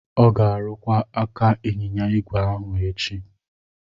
Ọ ga-arụkwa aka ịnyịnya igwe ahu echi.